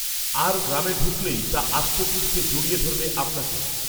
আর গ্রামে ঢুকলেই তা আষ্টেপৃষ্টে জড়িয়ে ধরবে আপনাকেও